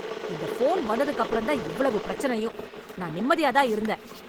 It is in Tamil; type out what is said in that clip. இந்த போன் வந்ததுக்கப்புறம் தான் இவ்வளவு பிரச்சனையும், நான் நிம்மதியா தான் இருந்தேன்.